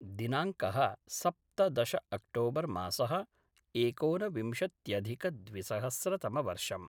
दिनाङ्कः सप्तदश अक्टोबर् मासः एकोनविंशत्यधिकद्विसहस्रतमवर्षम्